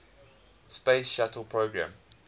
space shuttle program